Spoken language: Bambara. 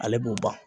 Ale b'o ban